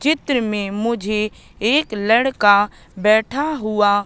चित्र में मुझे एक लड़का बैठा हुआ--